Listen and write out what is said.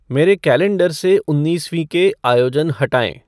मेरे कैलेंडर से उन्नीसवीं के आयोजन हटाएँ